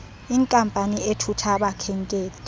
inkampani ethutha abakhenkethi